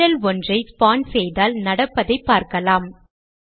sub shell ஒன்றை spawn செய்தால் நடப்பதை பார்க்கலாம்